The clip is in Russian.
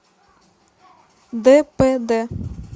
дпд